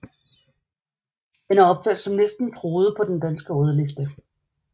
Den er opført som næsten truet på den danske rødliste